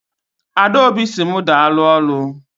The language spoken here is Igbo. Adaobi si mu daalụ ọrụ.